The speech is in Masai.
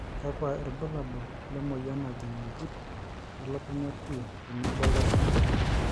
kakuai irbulabol le moyian najing' impit e lukunya p tenebo ildasin